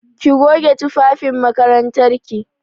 Ki goge tufafin makarantar ki!